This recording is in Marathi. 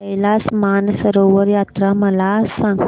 कैलास मानसरोवर यात्रा मला सांग